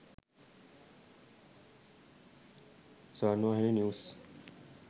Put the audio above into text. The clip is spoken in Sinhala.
sawarnawahini news